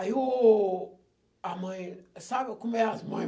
Aí o a mãe... Sabe como é as mãe?